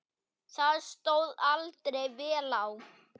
Það stóð aldrei vel á.